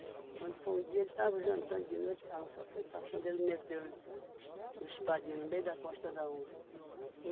Quando foi um dia, ele estava jantando de noite, a onça foi passando, ele meteu-lhe um um espadinho no meio da costa da onça.